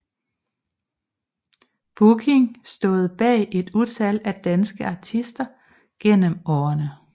Booking stået bag et utal af danske artister gennem årene